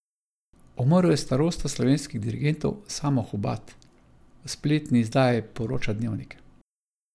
Umrl je starosta slovenskih dirigentov Samo Hubad, v spletni izdaji poroča Dnevnik.